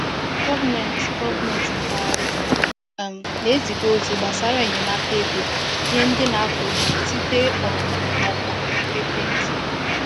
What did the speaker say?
Gọọmenti Gọọmenti mpaghara um na-eziga ozi gbasara enyemaka ego nye ndị na-akọ ugbo site um na ọkwa ekwentị.